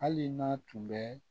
Hali n'a tun bɛ